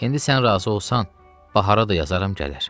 İndi sən razı olsan, Bahara da yazaram gələr.